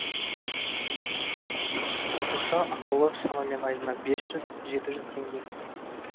қосымша ақылы шамамен айына бес жүз жеті жүз теңге